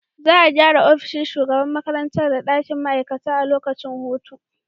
Za a gyara ofishin shugaban makarantar da dakin ma’aikata a lokacin hutu.